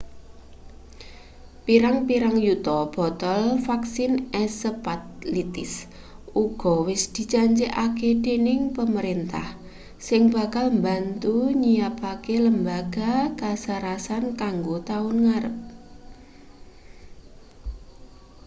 pirang-pirang yuta botol vaksin encephalitis uga wis dijanjekake dening pamrentah sing bakal mbantu nyiyapake lembaga kasarasan kanggo taun ngarep